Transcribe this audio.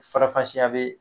Farafasiya bɛ